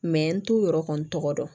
n t'u yɛrɛ kɔni tɔgɔ dɔn